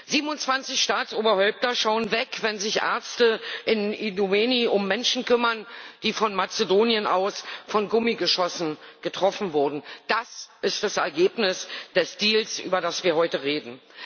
27 Staatsoberhäupter schauen weg, wenn sich Ärzte in Idomeni um Menschen kümmern, die von Mazedonien aus von Gummigeschossen getroffen wurden. Das ist das Ergebnis des Deals, über das wir heute reden.